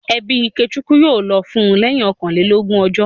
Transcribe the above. Ẹbí Ikechukwu yóò lọ fún lẹ́yìn ọkànlélógún ọjọ́